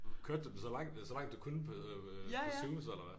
Kørte du den så langt så langt du kunne på på Zoom så eller hvad